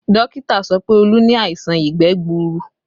Dókítà sọ pé Olu ni àìsàn ìgbẹ́ gbuuru